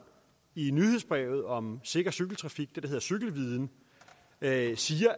i nyhedsbrevet om sikker cykeltrafik det hedder cykelviden sagde